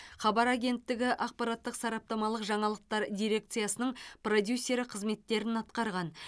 хабар агенттігі ақпараттық сараптамалық жаңалықтар дирекциясының продюсері қызметтерін атқарған